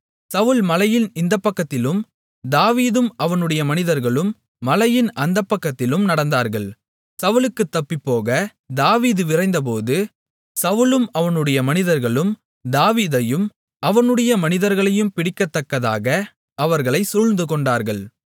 சவுல் மலையின் இந்தப்பக்கத்திலும் தாவீதும் அவனுடைய மனிதர்களும் மலையின் அந்தப்பக்கத்திலும் நடந்தார்கள் சவுலுக்குத் தப்பிப்போக தாவீது விரைந்தபோது சவுலும் அவனுடைய மனிதர்களும் தாவீதையும் அவனுடைய மனிதர்களையும் பிடிக்கத்தக்கதாக அவர்களை சூழ்ந்துகொண்டார்கள்